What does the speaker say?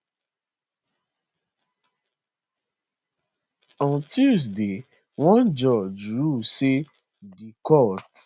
on tuesday one judge rule say di court